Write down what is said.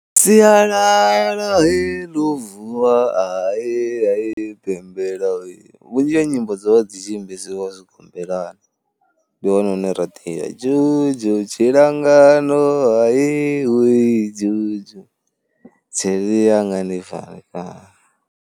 Siyalala he ḽo vuwa ahee ahee pembela, vhunzhi ha nyimbo dzo vha dzi tshi imbesiwa tshigombelani, ndih one hune ra dia jojo tshilangano ahee huwee jojo, tsheri yanga ndi pfharekano.